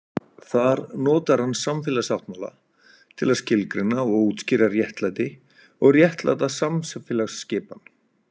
Þar notar hann samfélagssáttmála til að skilgreina og útskýra réttlæti og réttláta samfélagsskipan.